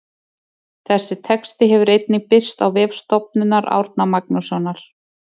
Þessi texti hefur einnig birst á vef Stofnunar Árna Magnússonar.